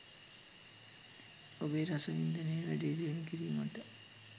ඔබේ රසවින්දනය වැඩිදියුණු කිරීමට